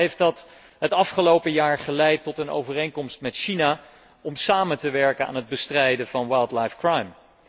Onder andere heeft dat het afgelopen jaar geleid tot een overeenkomst met China om samen te werken aan het bestrijden van wildlife crime